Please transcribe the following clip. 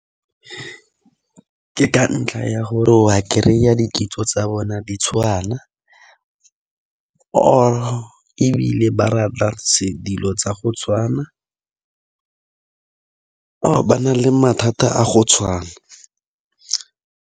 Ke ka ntlha ya gore wa kry-a dikitso tsa bona di tshwana or-e ebile ba rata se dilo tsa go tshwana or ba na le mathata a go tshwana.